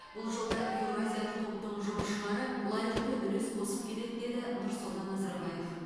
бұл жолда еуразиялық топтың жұмысшылары лайықты үлес қосып келеді деді нұрсұлтан назарбаев